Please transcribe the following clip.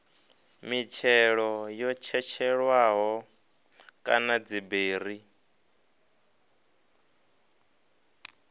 mitshelo yo tshetshelelwaho kana dziberi